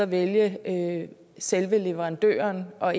vælge selve leverandøren og